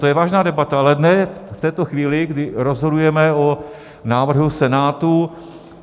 To je vážná debata, ale ne v této chvíli, kdy rozhodujeme o návrhu Senátu.